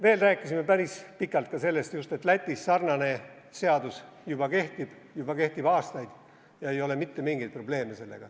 Veel rääkisime päris pikalt sellest, et Lätis sarnane seadus juba kehtib, kehtib juba aastaid ja sellega ei ole mitte mingeid probleeme.